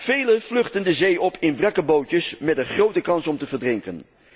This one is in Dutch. Velen vluchten de zee op in wrakke bootjes met een grote kans om te verdrinken.